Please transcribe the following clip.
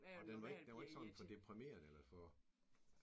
Og den var ikke den var ikke sådan for deprimeret eller for?